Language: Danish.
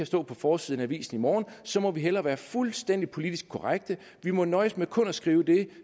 stå på forsiden af avisen i morgen så må vi hellere være fuldstændig politisk korrekte vi må nøjes med kun at skrive det